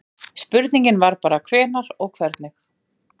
spurningin var bara hvenær og hvernig